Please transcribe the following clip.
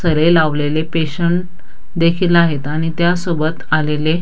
सरे लावलेले पेशंट देखील आहेत आणि त्या सोबत आलेले --